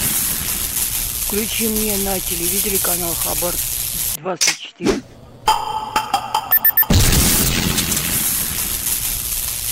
включи мне на телевизоре канал хабар двадцать четыре